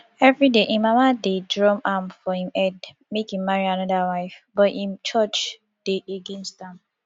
evryday im mama dey drum am for im head make im marry another wife but im church dey against am